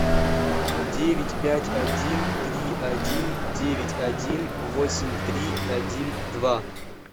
девять пять один три один девять один восемь три один два